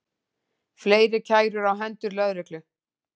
Fleiri kærur á hendur lögreglu